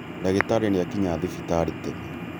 Ndagĩtarĩ nĩakinya thibitarĩ tene